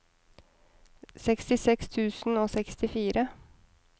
sekstiseks tusen og sekstifire